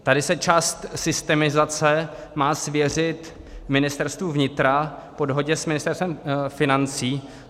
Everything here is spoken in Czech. Tady se část systemizace má svěřit Ministerstvu vnitra po dohodě s Ministerstvem financí.